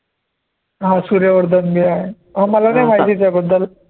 हा सूर्य वर्धन जे आहे म मला नाही माहिती त्याबद्दल